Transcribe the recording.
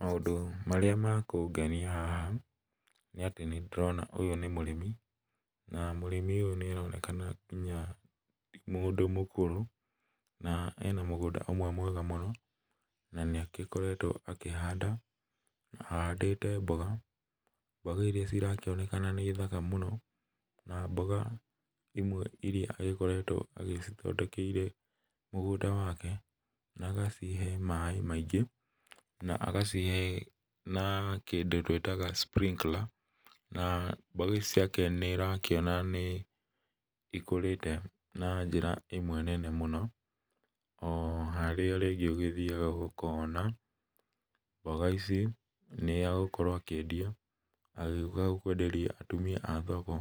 Maũndũ marĩa ma kũngenia haha nĩatĩ nĩndĩrona ũyũ nĩ mũrĩmi, na mũrĩmi ũyũ nĩaronekana nĩa, ti mũndũ mũkũrũ, na ena mũgũnda ũmwe mwega mũno, na nĩakoretwo akĩhanda, na ahandĩte mboga, mboga iria cirakĩoneka nĩ thaka mũno, na mboga imwe iria ikoretwo agĩcithondekeire mũgũnda wake, na agacihe maĩ maingĩ, na agacihe na kĩndũ twĩtaga sprinkler na mbegũ ici ciake nĩũrakĩona nĩ ikũrĩte, na njĩra ĩmwe nene mũno, o harĩa rĩngĩ ũgĩthiaga ũkona, mbga ici, nĩagũkorwo akĩendia, agĩũka kwenderia atumia a thoko,